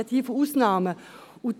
Ich spreche hier von Ausnahmen;